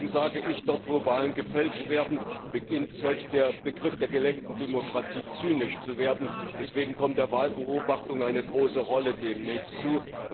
Und deswegen sage ich, dort wo Wahlen gefälscht werden, beginnt selbst der Begriff der gelenkten Demokratie zynisch zu werden, deswegen kommt der Wahlbeobachtung demnächst eine große Rolle zu.